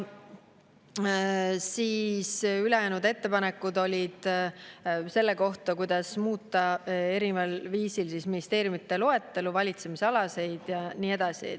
Ülejäänud ettepanekud olid selle kohta, kuidas muuta erineval viisil ministeeriumide loetelu, valitsemisalasid ja nii edasi.